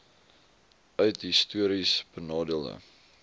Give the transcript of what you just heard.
uit histories benadeelde